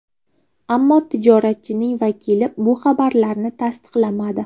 Ammo tijoratchining vakili bu xabarlarni tasdiqlamadi.